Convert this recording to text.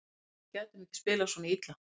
Ég hélt að við gætum ekki spilað svona illa.